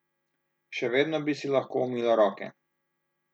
Še vedno bi si lahko umila roke.